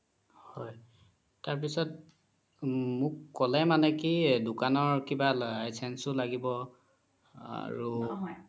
হয় তাৰ পিছত মোক ক্'লে মানে কি দুকানৰ কিবা license ও লাগিব আৰু